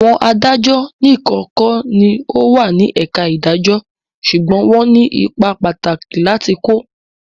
Àwọn adájọ́ nìkan kọ́ ní o wà ní ẹ̀ka ìdàjọ́ ṣùgbọ́n wọ́n ní ipa pàtàkì láti kó.